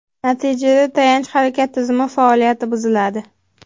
Natijada tayanch-harakat tizimi faoliyati buziladi.